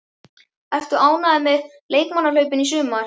Ertu ánægður með leikmannakaupin í sumar?